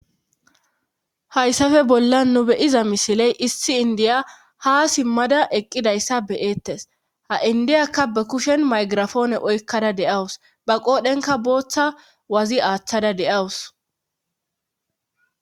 hayssafe bollan nu beyiza misiley issi indiya ha simmada eqqidayssa be'eettes ha indiyakka ba kushen maygirafoone oykkada de'awus ba qoodhenka booththa wazi aaththada de'awus